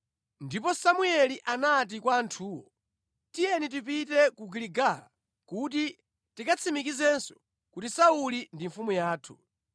Ndipo Samueli anati kwa anthuwo, “Tiyeni tipite ku Giligala kuti tikatsimikizenso kuti Sauli ndi mfumu yathu.”